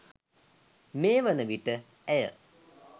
මේවන විට ඇය